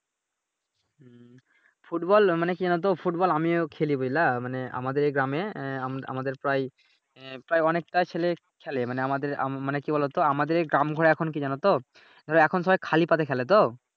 Football মানি কি জানতো ফুটবল আমিও খেলি বুঝলা মানি আমাদের এই গ্রামে আমাদের প্রায়ই প্রায়ই অনেকটা ছেলে খেলে মানি আমাদের আমরা মানি কি বলোতো আমাদের এই জড় এখন হয় এখন কি জানতো এখন সবাই খালি পায়ে খেলে তো ।